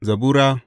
Zabura Sura